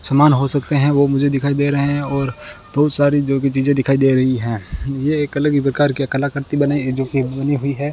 सामान हो सकते हैं वो मुझे दिखाई दे रहे हैं और बहुत सारी जो कि चीजें दिखाई दे रही हैं ये एक अलग ही प्रकार की कलाकृति बनाई है जो कि बनी हुई है।